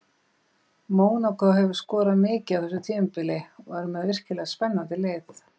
Mónakó hefur skorað mikið á þessu tímabili og er með virkilega spennandi lið.